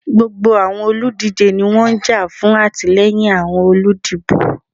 Gbogbo awọn oludije ni wọn n ja fun atilẹyin awọn oludibo.